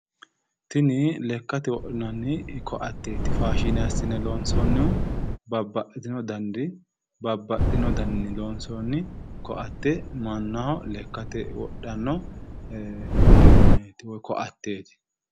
Tini lakkate wodhinanni koatteeti. Faashine assine loonsoonnihu babbaxxitino daniri babbaxxino daninni loonsoonni koatte mannaho lekkate wodhanno uduunneeti woyi koateeti.